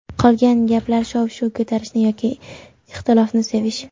Qolgan gaplar shov-shuv ko‘tarishni yoki ixtilofni sevish.